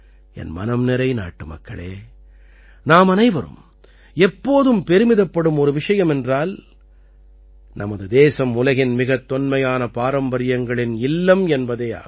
என் மனம்நிறை நாட்டுமக்களே நாமனைவரும் எப்போதும் பெருமிதப்படும் ஒரு விஷயம் என்றால் நமது தேசம் உலகின் மிகத் தொன்மையான பாரம்பரியங்களின் இல்லம் என்பதே ஆகும்